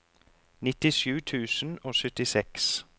nittisju tusen og syttiseks